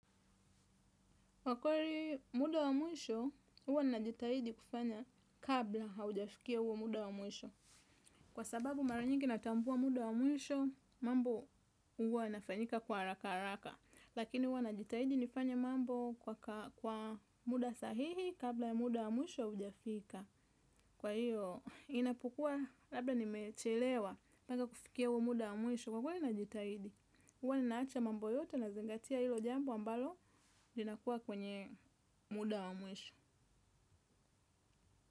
Kwa kweli muda wa mwisho, huwa najitaidi kufanya kabla haujafikia huo muda wa mwisho. Kwa sababu mara nyingi natambua muda wa mwisho, mambo huwa yanafanyika kwa haraka haraka. Lakini huwa najitahidi nifanye mambo kwa muda sahihi kabla ya muda wa mwisho haujafika. Kwa hiyo, inapokuwa labda nimechelewa, naka kufikia huwa muda wa muisho. Kwa kweli najitahidi, huwa ninaacha mambo yote nazingatia hilo jambo ambalo linakuwa kwenye muda wa mwisho.